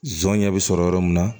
Zɔnɲɛ bi sɔrɔ yɔrɔ min na